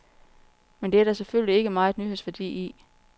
Men det er der selvfølgelig ikke megen nyhedsværdi i.